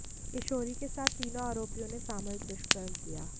किशोरी के साथ तीनों आरोपियों ने सामूहिक दुष्कर्म किया